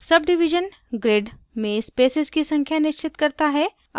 subdivision grid में spaces की संख्या निश्चित करता है